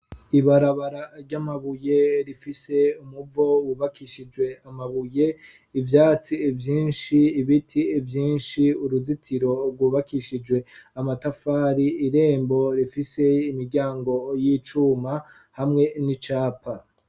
Ibarabara ry'amabuye rifise umuvo wubakishijwe amabuye ivyatsi vyinshi ibiti vyinshi uruzitiro rwubakishijwe amatafari irembo rifise imiryango y'icuma hamwe n'icapa.